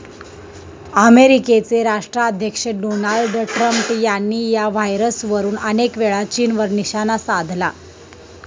अमेरिकेचे राष्ट्राध्यक्ष Donald Trump यांनी या व्हायरसवरुन अनेकवेळा चीनवर निशाणा साधला.